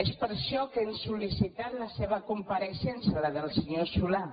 és per això que hem sol·licitat la seva compareixença la del senyor solà